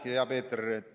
Aitäh, hea Peeter!